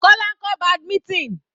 Kola ń kọ́ badminton.